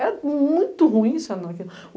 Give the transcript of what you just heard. Era muito ruim.